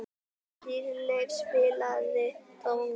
Dýrleif, spilaðu tónlist.